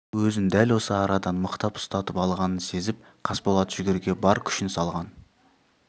өзін дәл осы арадан мықтап ұстатып алғанын сезіп қасболат жүгеріге бар күшін салған